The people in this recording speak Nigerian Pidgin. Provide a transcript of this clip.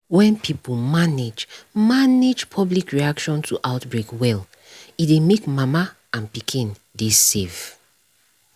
when pipo manage manage public reaction to outbreak well e dey make mama and pikin dey save